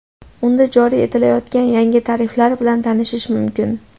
Unda joriy etilayotgan yangi tariflar bilan tanishish mumkin.